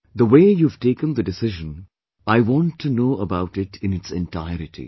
The way you have taken the decision, I want to know about it in its entirety